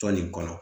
Tɔn nin kɔnɔ